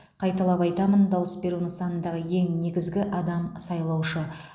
қайталап айтамын дауыс беру нысанындағы ең негізгі адам сайлаушы